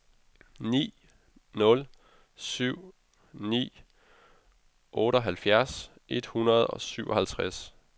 ni nul syv ni otteoghalvfjerds et hundrede og syvoghalvtreds